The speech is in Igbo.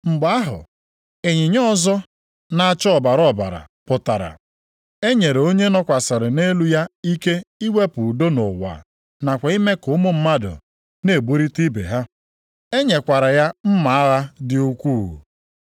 Mgbe ahụ, ịnyịnya ọzọ na-acha ọbara ọbara pụtara. E nyere onye nọkwasịrị nʼelu ya ike iwepụ udo nʼụwa nakwa ime ka ụmụ mmadụ na-egburita ibe ha. E nyekwara ya mma agha dị ukwuu.